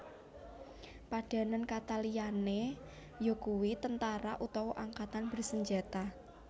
Padanan kata liyané yakuwi tentara utawa angkatan bersenjata